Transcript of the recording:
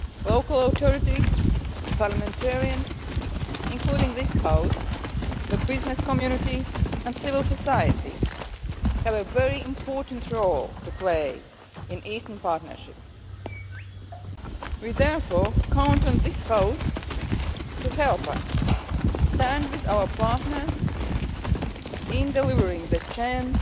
Local authorities, parliamentarians the business community and civil society have a very important role to play in the Eastern Partnership. We therefore count on this House to help us stand with our partners in delivering the